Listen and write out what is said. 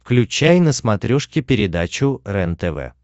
включай на смотрешке передачу рентв